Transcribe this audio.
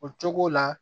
O cogo la